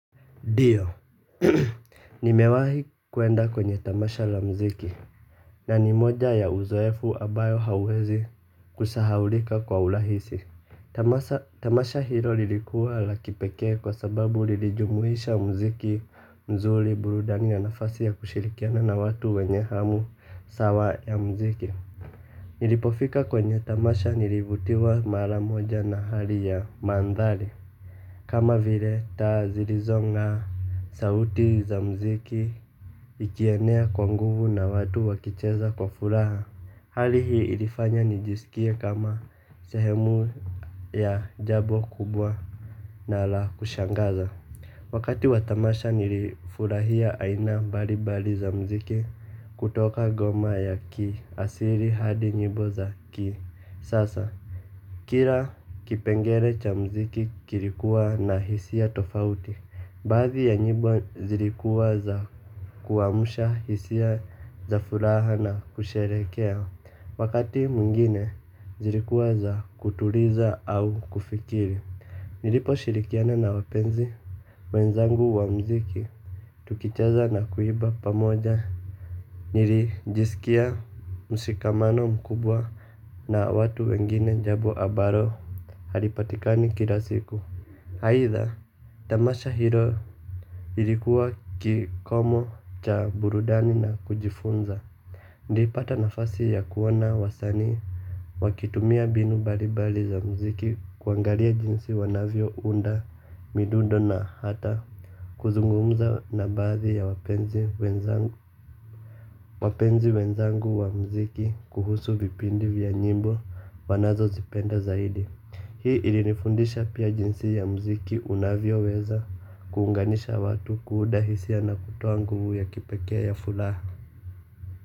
Ndio, nimewahi kwenda kwenye tamasha la muziki na ni moja ya uzoefu ambayo hauwezi kusahaulika kwa urahisi. Tamasha hilo lilikuwa la kipekee kwa sababu lilijumuisha muziki mzuri burudani ya nafasi ya kushirikiana na watu wenye hamu sawa ya muziki. Nilipofika kwenye tamasha nilivutiwa mara moja na hali ya mandhari. Kama vile taa zilizong'aa sauti za muziki ikienea kwa nguvu na watu wakicheza kwa furaha. Hali hii ilifanya nijisikie kama sehemu ya jambo kubwa na la kushangaza. Wakati wa tamasha nilifurahia aina mbali mbali za muziki kutoka ngoma ya kiasili hadi nyimbo za kisasa. Kila kipengele cha muziki kilikuwa na hisia tofauti. Baadhi ya nyimbo zilikuwa za kuamsha hisia za furaha na kusherehekea. Wakati mwingine zilikuwa za kutuliza au kufikiri. Niliposhirikiana na wapenzi wenzangu wa muziki tukicheza na kuimba pamoja. Nilijisikia mshikamano mkubwa. Na watu wengine jambo ambalo halipatikani kila siku. Aidha tamasha hilo ilikuwa kikomo cha burudani na kujifunza. Nilipata nafasi ya kuona wasanii wakitumia mbinu mbalimbali za muziki kuangalia jinsi wanavyo nda midundo na hata kuzungumza na baadhi ya wapenzi wenzangu. Wapenzi wenzangu wa muziki kuhusu vipindi vya nyimbo wanazozipenda zaidi. Hii ilinifundisha pia jinsi ya mziki unavyoweza kuunganisha watu kuunda hisia na kutoa nguvu ya kipekee ya furaha.